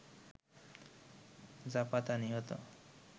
জাপাতা নিহত